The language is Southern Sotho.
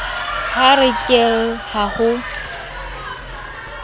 ha ke re ha ho